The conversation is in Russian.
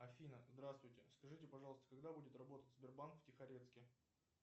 афина здравствуйте скажите пожалуйста когда будет работать сбербанк в тихорецке